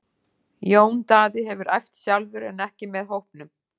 Jón Daði hefur æft sjálfur en ekki með hópnum.